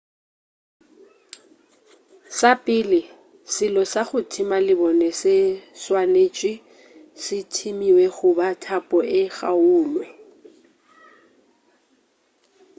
sa pele selo sa go thima lebone se swanetše se thimiwe goba thapo e kgaulwe